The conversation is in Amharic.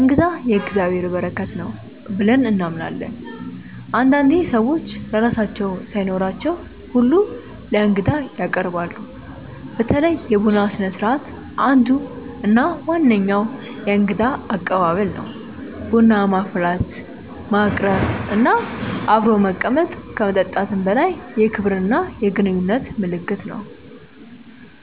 “እንግዳ የእግዚአብሔር በረከት ነው” ብለን እናምናለን። አንዳንዴ ሰዎች ለራሳቸው ሳይኖራቸው ሁላ ለእንግዳ ያቀርባሉ። በተለይ የቡና ስነስርዓት አንዱ እና ዋነኛው የእንግዳ አቀባበል ነው። ቡና ማፍላት፣ ማቅረብ እና አብሮ መቀመጥ ከመጠጥም በላይ የክብርና የግንኙነት ምልክት ነው።